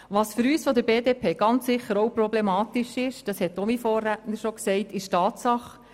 Was mein Vorredner ebenfalls schon erwähnt hat, ist auch für die BDP problematisch: